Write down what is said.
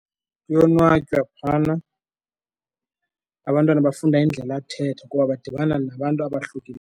Kuyonwatywa phana, abantwana bafunda indlela yakuthetha kuba badibana nabantu abahlukile.